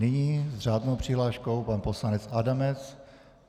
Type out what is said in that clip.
Nyní s řádnou přihláškou pan poslanec Adamec.